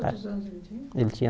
Quantos anos ele tinha? Ele tinha